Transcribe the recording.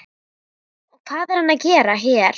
Og hvað er hann að gera hér?